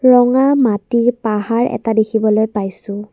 ৰঙা মাটিৰ পাহাৰ এটা দেখিবলৈ পাইছোঁ।